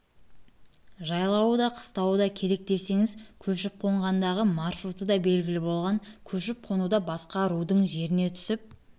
да қыстауы да керек десеңіз көшіп-қонғандағы маршруты да белгілі болған көшіп-қонуда басқа рудың жеріне түсіп